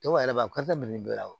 Dɔw yɛrɛ b'a bɛɛ la wa